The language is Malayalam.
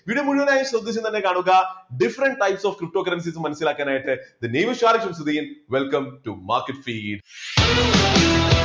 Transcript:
video മുഴുവനായി ശ്രദ്ധിച്ച് തന്നെ കാണുക different types of cryptocurrencies മനസ്സിലാക്കാൻ ആയിട്ട് welcome to market feeds .